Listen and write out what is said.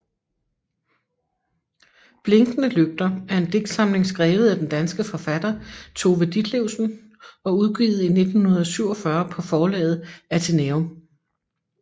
Blinkende lygter er en digtsamling skrevet af den danske forfatter Tove Ditlevsen og udgivet i 1947 på forlaget Athenæum